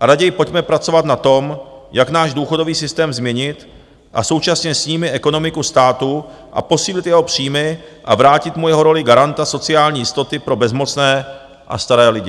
a raději pojďme pracovat na tom, jak náš důchodový systém změnit, a současně s ním i ekonomiku státu, posílit jeho příjmy a vrátit mu jeho roli garanta sociální jistoty pro bezmocné a staré lidi.